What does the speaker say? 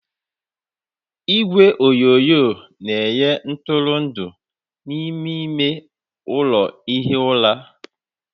Igwe onyonyo na-enye ntụrụndụ n'ime ime ụlọ ihi ụra.